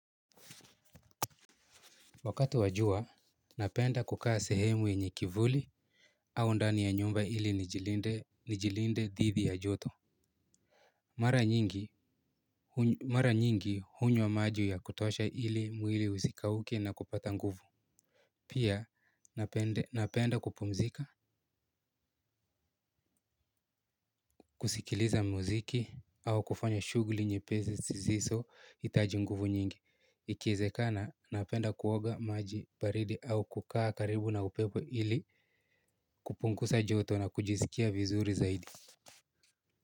Wakati wa jua, napenda kukaa sehemu yenye kivuli au ndani ya nyumba ili nijilinde dhidhi ya joto. Mara nyingi hunywa maji ya kutosha ili mwili usikauke na kupata nguvu. Pia, napenda kupumzika, kusikiliza muziki au kufanya shuguli nyepezi zisizohitaji nguvu nyingi. Ikiezekana napenda kuoga maji baridi au kukaa karibu na upepo ili kupungusa joto na kujisikia vizuri zaidi.